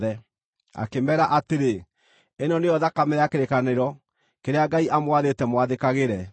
Akĩmeera atĩrĩ, “Ĩno nĩyo thakame ya kĩrĩkanĩro, kĩrĩa Ngai amwathĩte mwathĩkagĩre.”